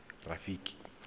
rafiki